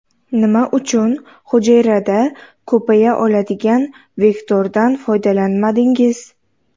Nima uchun hujayrada ko‘paya oladigan vektordan foydalanmadingiz?